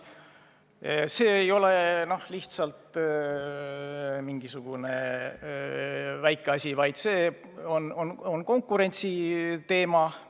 See ei ole mingisugune väike asi, sest see puudutab konkurentsiteemat.